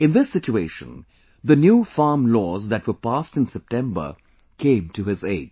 In this situation, the new farm laws that were passed in September came to his aid